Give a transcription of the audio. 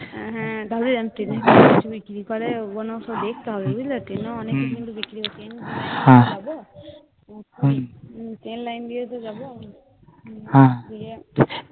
বিক্রি করে ওগুলো সব দেখতে হবে বুঝলে? টেনে অনেকে কিন্তু বিক্রি হ্যাঁ Train লাইন দিয়ে তো যাবো. হ্যাঁ